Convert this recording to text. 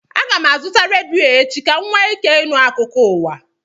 Aga m azụta redio echi ka m nwee ike ịnụ akụkọ ụwa